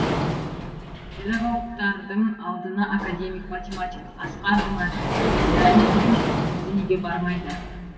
педагогтардың алдына академик математик асқар жұмаділдаевтың өзі неге бармайды